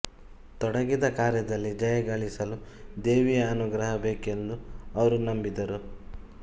ತೊಡಗಿದ ಕಾರ್ಯದಲ್ಲಿ ಜಯ ಗಳಿಸಲು ದೇವಿಯ ಅನುಗ್ರಹ ಬೇಕೆಂದು ಅವರು ನಂಬಿದ್ದರು